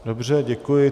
Dobře, děkuji.